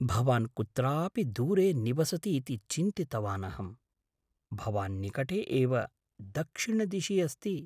भवान् कुत्रापि दूरे निवसति इति चिन्तितवान् अहम्। भवान् निकटे एव दक्षिणदिशि अस्ति। स्थानीयः।